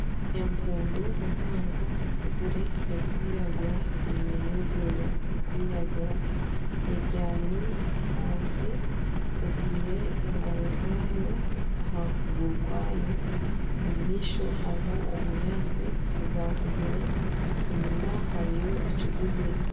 Empundu mpango ekuzire erikwiragura eine nana ebyoya birikwiragura ebyami ahansi etaire engaro zaayo aha kuguru kwayo omu maisho hariho obunyaatsi obukuzakuzire enyuma hariyo ekiguzi.